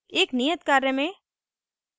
एक नियत कार्य में